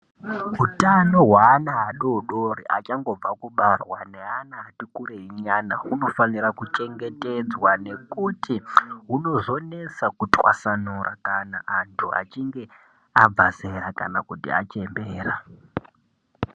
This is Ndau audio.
Hutano hweana adodori achangobva kubarwa neana atikurei nyana unofanire kuchemgetedza nekuti hunozonesa kutwasanura kana anhu achinge abva zera kana kuti achembera.